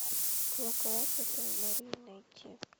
колокола святой марии найти